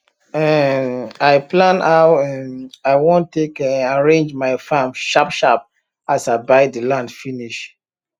um i plan how um i wan take um arrange my farm sharp sharp as i buy the land finish